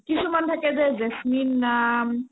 কিমান থাকে যে জেচমিন নাম